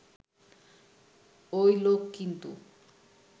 ওই লোক কিন্তু